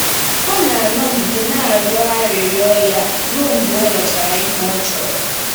Ọ na-anọgide na-arịọ arịrịọ ya ruo mgbe o nwetara ihe ọ chọrọ.